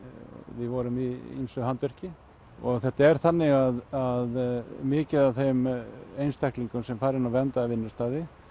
við vorum í ýmsu handverki og þetta er þannig að mikið af þeim einstaklingum sem fara inn á verndaða vinnustaði